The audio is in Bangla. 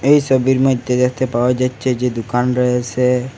এই সবির মধ্যে দেখতে পাওয়া যাচ্ছে যে দুকান রয়েসে।